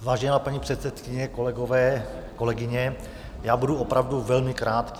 Vážená paní předsedkyně, kolegové, kolegyně, já budu opravdu velmi krátký.